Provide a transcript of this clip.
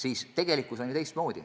Aga tegelikkus on ju teistsugune.